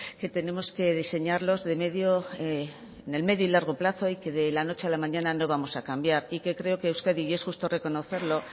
que tenemos que diseñarlos en el medio y largo plazo y que de la noche a la mañana no vamos a cambiar y que creo que euskadi y es justo reconocerlo